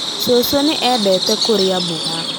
cũcũ nĩ endete kũrĩa mboga